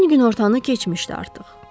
Gün günortanı keçmişdi artıq.